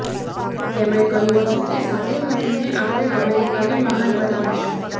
તેમણે કહ્યું હતું કે સાથે મળીને આપણે અમેરિકાને મહાન બનાવીશું